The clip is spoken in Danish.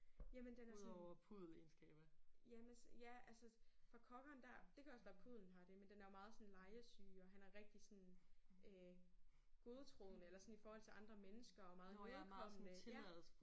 Jamen den er sådan ja men altså ja fra cockeren der det kan også være puddelen har det men den er jo meget sådan legesyg og han er rigtig sådan øh godtroende i forhold til andre mennesker og meget imødekommende ja